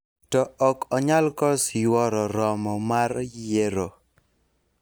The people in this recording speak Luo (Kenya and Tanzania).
to ok onyal kos yuoro romo mar yiero